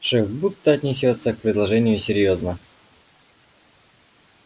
шеф будто отнесётся к предложению серьёзно